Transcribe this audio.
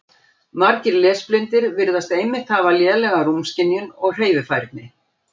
Margir lesblindir virðast einmitt hafa lélega rúmskynjun og hreyfifærni.